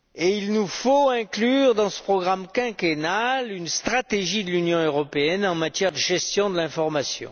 Il nous faut inclure dans ce programme quinquennal une stratégie de l'Union européenne en matière de gestion de l'information.